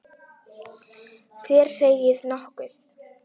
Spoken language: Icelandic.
Þér segið nokkuð!